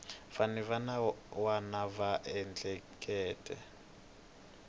vanhu van wana va ehleketa